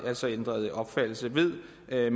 altså ændret opfattelse ved ved